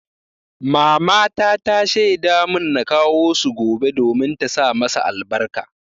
Mamata ta shaida mun na kawo su gobe domin ta sa masa albarka.